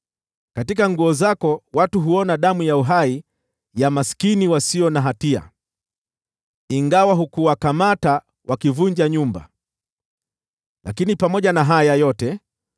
Katika nguo zako watu huona damu ya uhai ya maskini wasio na hatia, ingawa hukuwakamata wakivunja nyumba. Lakini katika haya yote